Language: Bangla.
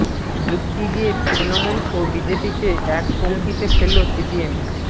যুক্তি দিয়ে তৃণমূল ও বিজেপিকে এক পংক্তিতে ফেলল সিপিএম